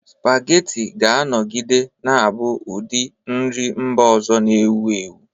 Spaghetti ga-anọgide na-abụ ụdị nri mba ọzọ na-ewu ewu.